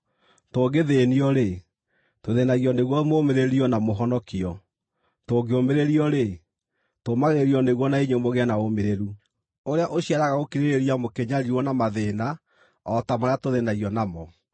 Tũngĩthĩĩnio-rĩ, tũthĩĩnagio nĩguo mũũmĩrĩrio na mũhonokio; tũngĩũmĩrĩrio-rĩ, tũũmagĩrĩrio nĩguo na inyuĩ mũgĩe na ũũmĩrĩru, ũrĩa ũciaraga gũkirĩrĩria mũkĩnyariirwo na mathĩĩna o ta marĩa tũthĩĩnagio namo.